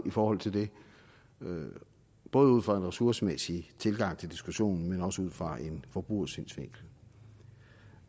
i forhold til det både ud fra en ressourcemæssigt tilgang til diskussionen men også ud fra en forbrugersynsvinkel